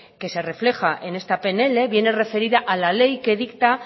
que se refleja en esta pnl viene referida a la ley que dicta